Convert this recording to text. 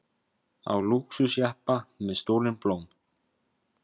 Á lúxusjeppa með stolin blóm